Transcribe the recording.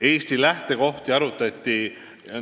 Eesti lähtekohti arutati.